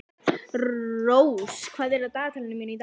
Rós, hvað er á dagatalinu mínu í dag?